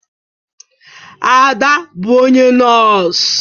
Ada bụ onye nọs.